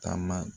Taama